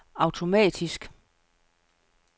automatisk